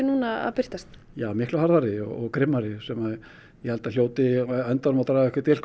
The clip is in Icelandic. að birtast já miklu harðari og grimmari sem að ég held að hljóti á endanum að draga einhvern dilk